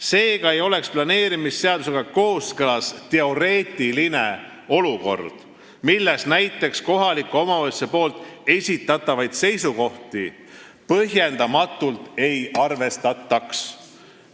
Seega ei oleks planeerimisseadusega kooskõlas teoreetiline olukord, kus näiteks kohaliku omavalitsuse esitatavaid seisukohti põhjendamatult ei arvestataks.